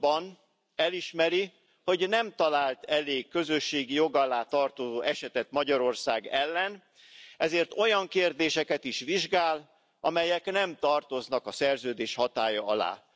pontban elismeri, hogy nem talált elég közösségi jog alá tartozó esetet Magyarország ellen, ezért olyan kérdéseket is vizsgál, amelyek nem tartoznak a Szerződés hatálya alá.